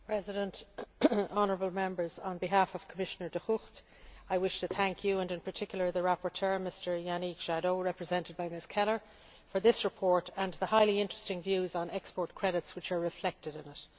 Mr President, honourable Members, on behalf of Commissioner De Gucht I wish to thank you, and in particular the rapporteur, Mr Yannick Jadot, represented by Ms Keller, for this report and the highly interesting views on export credits which are reflected in it.